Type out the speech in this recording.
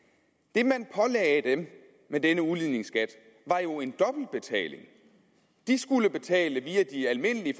det man pålagde dem med denne udligningsskat var jo en dobbeltbetaling de skulle betale via de almindelige